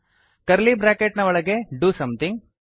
curly bracket ನ ಒಳಗೆ do something